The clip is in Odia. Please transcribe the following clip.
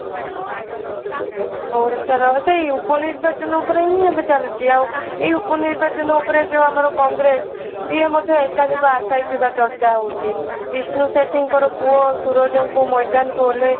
ଓଡିଶାର ସେଇ ଉପ ନିର୍ବାଚନ ଉପରେ ହିଁ ଏବେ ଚାଲିଛି ଆଉ ଏଇ ଉପ ନିର୍ବାଚନ ଉପରେ ଆମର ଏ ଯୋଉ କଂଗ୍ରେସ ସିଏ ମଧ୍ୟ ଏକାଧିକ ଅସାଇଥିବା ଚର୍ଚ୍ଚା ହେଉଛି ବିଷ୍ଣୁ ସେଠୀଙ୍କର ପୁଅ ସୁରଜଙ୍କୁ ମଇଦାନକୁ ଓଲ୍ଲାଇ